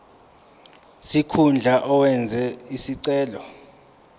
sikhundla owenze isicelo